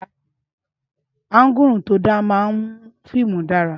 Áǹgùrù tó da máa ń mú fíìmù dára